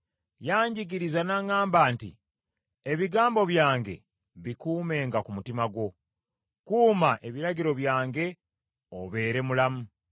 yanjigiriza n’aŋŋamba nti, “Ebigambo byange bikuumenga ku mutima gwo, kuuma ebiragiro byange obeere mulamu.